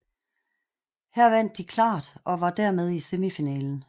Her vandt de klart og var dermed i semifinalen